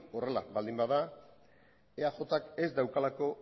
horrela baldin bada eajk ez daukalako